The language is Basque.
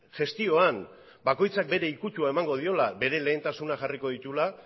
gestioan bakoitzak bere ikutua emango diola bere lehentasunak jarriko dituela